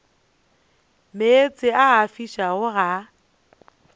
meetse a a fišago ga